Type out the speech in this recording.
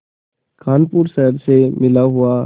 कानपुर शहर से मिला हुआ